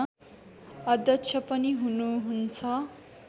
अध्यक्ष पनि हुनुहुन्छ